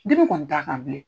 Dimi kɔni t'a kan bilen.